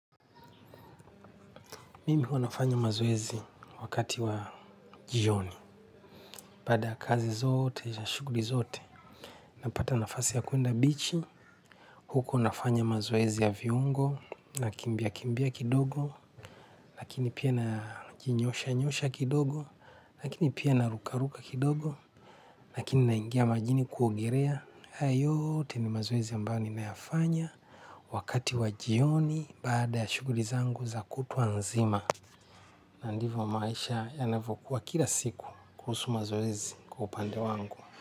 Mimi huwa nafanya mazoezi wakati wa jioni. Baada ya kazi zote, na shughuli zote. Napata nafasi ya kwenda bichi. Huko nafanya mazoezi ya viungo. Nakimbia kimbia kidogo. Lakini pia najinyoosha nyoosha kidogo. Lakini pia naruka ruka kidogo lakini naingia majini kuogerea. Haya yote ni mazoezi ambayo nimeyafanya. Wakati wa jioni. Baada ya shughuli zangu za kutwa nzima. Na ndivyo maisha yanavyokuwa kila siku kuhusu mazoezi kwa upande wangu.